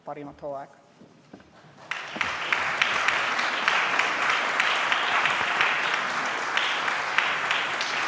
Parimat hooaega!